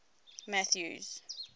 mathews